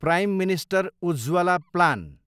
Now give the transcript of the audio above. prime minister Ujjwala plan